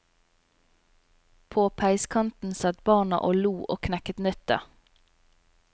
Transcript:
På peiskanten satt barna og lo og knekket nøtter.